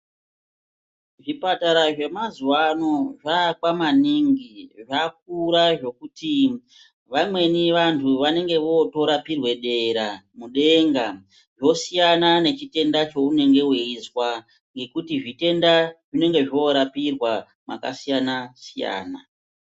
Zvipatara zvemazuva ano zvaakwa maningi zvakura zvekuti vamweni vantuvantu vanenge votorapirwe dera, kudenga vosiyana nechitenda cheunenge weizwa ngekuti zvitenda zvinenge zvorapirwa makasiyana-siyana.